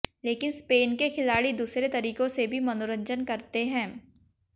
लेकिन स्पेन के खिलाड़ी दूसरे तरीकों से भी मनोरंजन करते हैं